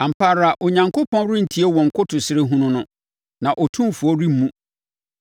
Ampa ara Onyankopɔn rentie wɔn nkotosrɛ hunu no; na Otumfoɔ remmu.